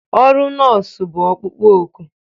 Ọrụ nọọsụ bụ ọkpukpo oku